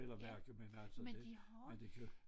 Eller virke men altså det men det kan